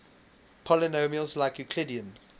polynomials like euclidean